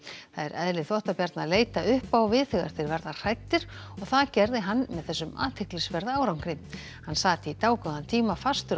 það er eðli að leita upp á við þegar þeir verða hræddir og það gerði hann með þessum athyglisverða árangri hann sat í dágóðan tíma fastur á